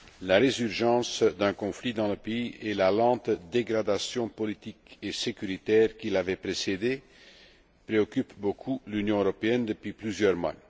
La résurgence d'un conflit dans le pays et la lente dégradation politique et sécuritaire qui l'avait précédé préoccupent beaucoup l'Union européenne depuis plusieurs mois.